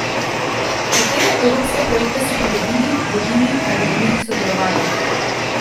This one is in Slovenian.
Katere evropske projekte so pridobili, vodili ali v njih sodelovali?